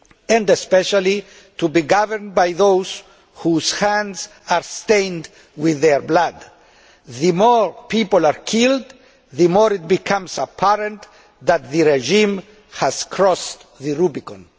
and especially to be governed by those whose hands are stained with their blood. The more people are killed, the more it becomes apparent that the regime has crossed the Rubicon.